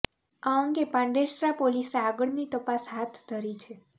આ અંગે પાંડેસરા પોલીસે આગળની તપાસ હાથ ધરી છે